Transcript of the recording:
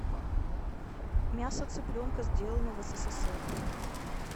мяса цыпленка сделано в ссср